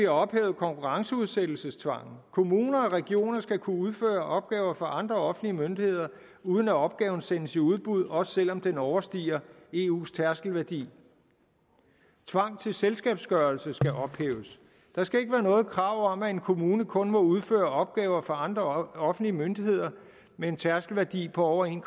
ophævet konkurrenceudsættelsestvangen kommuner og regioner skal kunne udføre opgaver for andre offentlige myndigheder uden at opgaven sendes i udbud også selv om den overstiger eus tærskelværdi tvang til selskabsgørelse skal ophæves der skal ikke være noget krav om at en kommune kun må udføre opgaver for andre offentlige myndigheder med en tærskelværdi på over en